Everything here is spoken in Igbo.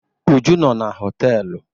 Uju nọ na họtelu.